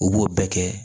U b'o bɛɛ kɛ